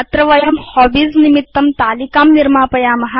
अधुना अस्मिन् वयं हॉबीज निमित्तं तालिकां निर्मापयाम